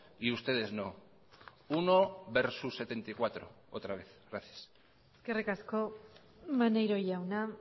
y ustedes no uno versus setenta y cuatro otra vez gracias eskerrik asko maneiro jauna